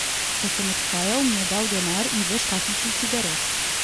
Ko sem odhajal, mi je dal denar in dve škatlici cigaret.